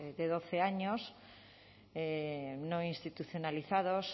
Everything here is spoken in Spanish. de doce años no institucionalizados